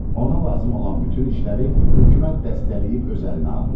Ona lazım olan bütün işləri hökumət dəstəkləyib öz əlinə almışdı.